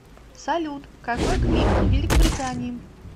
салют какой климат в великобритании